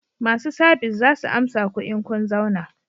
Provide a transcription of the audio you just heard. Masu sabis za su amsa ku in kun zauna